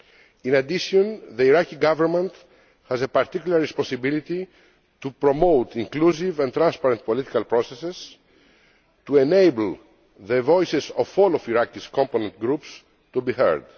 In addition, the Iraqi Government has a particular responsibility to promote inclusive and transparent political processes, to enable the voices of all of Iraq's component groups to be heard.